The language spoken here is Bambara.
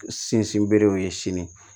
Sinsin berew ye sini